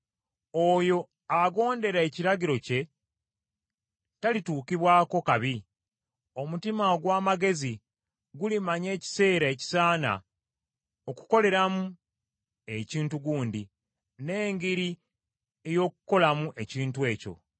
Oyo agondera ekiragiro kye talituukibwako kabi, omutima ogw’amagezi gulimanya ekiseera ekisaana okukoleramu ekintu gundi, n’engeri ey’okukolamu ekintu ekyo.